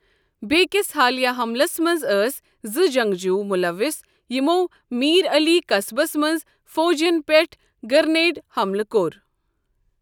بیکِس حالیہ حملَس منٛز ٲسۍ زٕ جنگجو مُلوِث یِمَو میٖر علی قصبس منٛز فوجین پیٹھ گرِنیڈ حملہٕ کوٚر۔